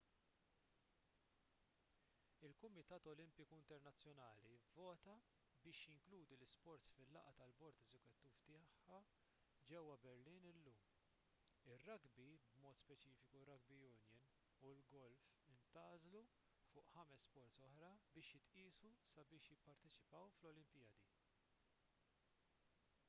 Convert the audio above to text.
il-kumitat olimpiku internazzjonali vvota biex jinkludi l-isports fil-laqgħa tal-bord eżekuttiv tiegħu ġewwa berlin illum ir-rugby b'mod speċifiku r-rugby union u l-golf intgħażlu fuq ħames sports oħra biex jitqiesu sabiex jipparteċipaw fl-olimpjadi